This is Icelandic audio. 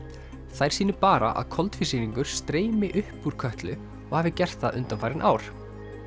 þær sýni bara að koltvísýringur streymi upp úr Kötlu og hafi gert það undanfarin ár